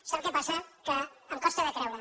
sap què passa que em costa de creure